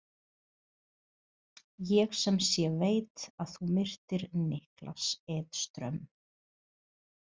Ég sem sé veit að þú myrtir Niklas Edström.